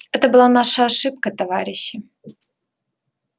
это была наша ошибка товарищи